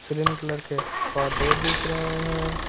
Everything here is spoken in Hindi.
ग्रीन कलर के पर्दे दिख रहे हैं।